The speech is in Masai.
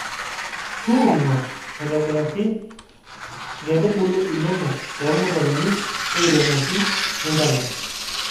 tuunono aboraki inkaitubulu inonok toormutaroni airemoki nintalam